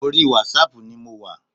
Orí wásaàpù ni mo wà.